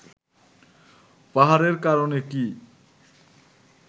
পাহাড়ের কারণে কি